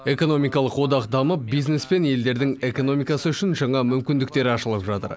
экономикалық одақ дамып бизнес пен елдердің экономикасы үшін жаңа мүмкіндіктер ашылып жатыр